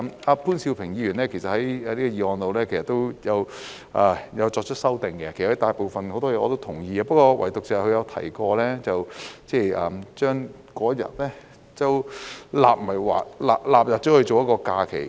潘兆平議員也有就議案提出修訂，其大部分內容我也是同意的，唯獨是他提到把那一天納入為假期。